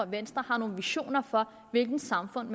venstre har nogle visioner for hvilket samfund